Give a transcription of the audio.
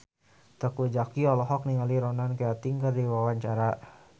Teuku Zacky olohok ningali Ronan Keating keur diwawancara